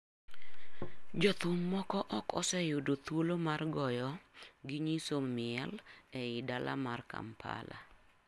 Jothum moko ok oseyudo thuolo mar goyo gi nyiso miel ei dala mar Kampala.